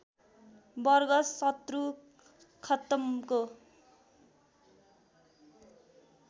वर्ग शत्रु खत्तमको